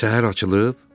Səhər açılıb.